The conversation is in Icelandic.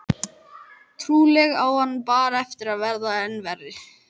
Trúlega á hann bara eftir að verða enn verri.